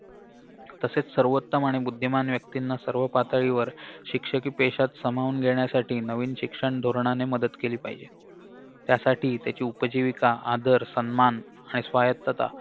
तसेच सर्वोत्तम आणि बुद्धिमान व्यक्तींना सर्व पातळीवर शिक्षकी पेशात सामावून घेण्यासाठी नवीन शिक्षण धोरणाने मदत केली पाहिजे त्यासाठी त्याची उपजीविका आदर सन्मान आणि स्वायत्तता